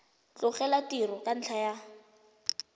tlogela tiro ka ntlha ya